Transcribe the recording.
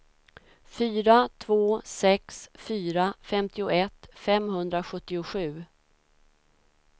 fyra två sex fyra femtioett femhundrasjuttiosju